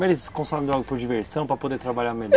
Mas eles consomem droga por diversão, para poder trabalhar melhor?